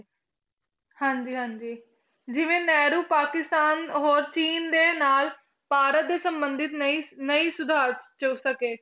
ਹਾਂਜੀ ਹਾਂਜੀ ਜਿਵੇਂ ਨਹਿਰੂ ਪਾਕਿਸਤਾਨ ਹੋਰ ਚੀਨ ਦੇ ਨਾਲ ਭਾਰਤ ਦੇ ਸੰਬੰਧਿਤ ਨਹੀਂ ਨਹੀਂ ਸੁਧਾਰ 'ਚ ਸਕੇ।